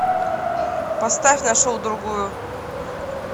поставь нашел другую